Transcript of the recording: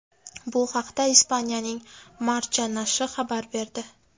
Bu haqda Ispaniyaning Marca nashri xabar berdi.